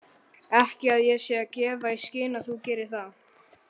Ekki að ég sé að gefa í skyn að þú gerir það.